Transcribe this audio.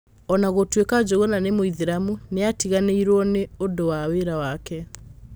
O na gũtuĩka Njugũn nĩ Mũithĩramu, nĩ aatiganĩirio ni nĩ ũndũ wa wĩra wake.